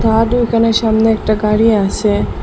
এখানে সামনে একটা গাড়ি আসে।